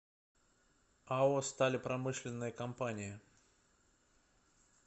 ао сталепромышленная компания